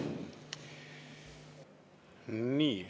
Nii.